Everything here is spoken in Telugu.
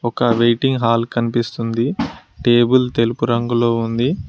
ఒక వెయిటింగ్ హాల్ కనిపిస్తుంది టేబుల్ తెలుపు రంగులో ఉంది.